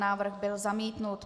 Návrh byl zamítnut.